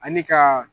Ani ka